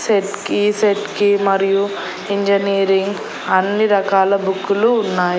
Set కి set కి మరియు ఇంజనీరింగ్ అన్ని రకాల బుక్కులు ఉన్నాయ్.